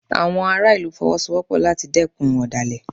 Àwọn ará ìlú Fọwọ́sowọ́pọ̀ láti dẹ́kun ọ̀dàlẹ̀